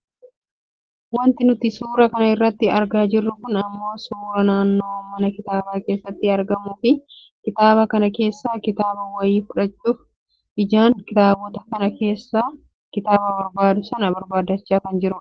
Wanti nuti suura kana irratti argaa jirru kun ammoo suuraa nama mana kitaabaa keessatti argamuufi kitaaba kana keessaa kitaaba wayii fudhachuuf ijaan kitaabota kana keesssa kitaaba barbaadu sana barbaaddachaa kan jirudha.